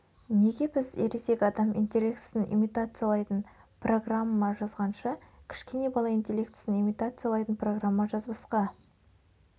неге біз ересек адам интеллектісін имитациялайтын программа жазғанша кішкене бала интеллектісін имитациялайтын программа жазбасқа